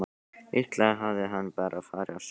Líklega hafði hann bara farið á sjóinn.